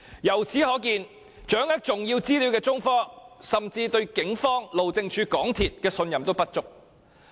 由此可見，掌握重要資料的中科甚至對警方、路政署及港鐵公司也信任不足。